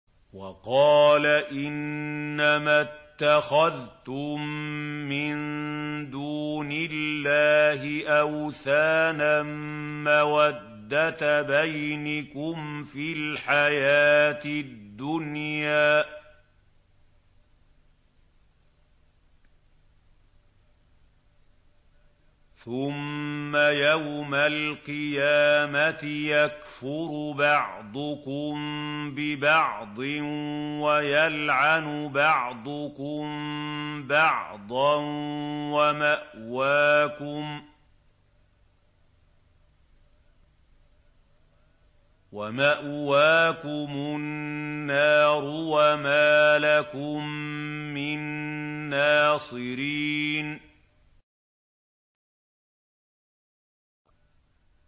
وَقَالَ إِنَّمَا اتَّخَذْتُم مِّن دُونِ اللَّهِ أَوْثَانًا مَّوَدَّةَ بَيْنِكُمْ فِي الْحَيَاةِ الدُّنْيَا ۖ ثُمَّ يَوْمَ الْقِيَامَةِ يَكْفُرُ بَعْضُكُم بِبَعْضٍ وَيَلْعَنُ بَعْضُكُم بَعْضًا وَمَأْوَاكُمُ النَّارُ وَمَا لَكُم مِّن نَّاصِرِينَ